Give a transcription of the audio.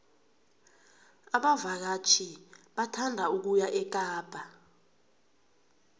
abavakatjhi bathanda ukuya ekapa